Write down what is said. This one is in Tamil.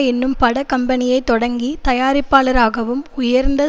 என்னும் பட கம்பெனியை தொடங்கி தயாரிப்பாளராகவும் உயர்ந்த